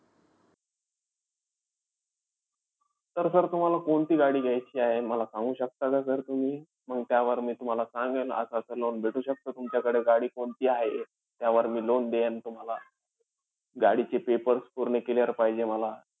तर sir तुम्हाला कोणती गाडी घ्यायची आहे मला सांगू शकता का sir तुम्ही? मंग त्यावर मी तुम्हाला सांगेल असं-असं loan भेटू शकतं. तुमच्याकडे गाडी कोणती आहे त्यावर मी loan देईन तुम्हाला. गाडीचे papers पूर्ण clear पाहिजे मला.